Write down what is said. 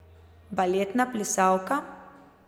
Baletna plesalka?